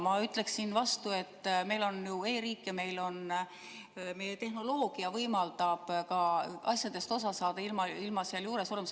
Ma ütleksin vastu, et meil on ju e-riik ja meie tehnoloogia võimaldab asjadest osa saada ilma seal juures olemata.